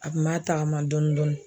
A kun b'a tagama dɔɔni dɔɔni